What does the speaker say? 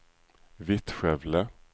Vittskövle